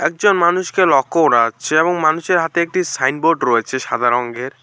মানুষকে লক্ষ করা যাচ্ছে এবং মানুষের হাতে একটি সাইনবোর্ড রয়েছে সাদা রঙ্গের।